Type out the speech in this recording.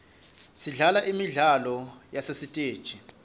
sidlala imidlalo yasesiteji